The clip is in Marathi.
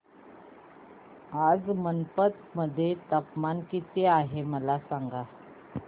आज मैनपत मध्ये तापमान किती आहे मला सांगा